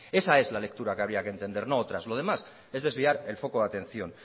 esa es la lectura que había que entender no otras lo demás es desviar el foco de atención